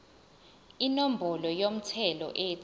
inombolo yomthelo ethi